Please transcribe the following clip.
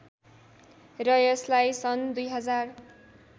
र यसलाई सन् २०००